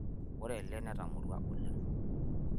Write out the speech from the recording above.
ore ele natamorua oleng'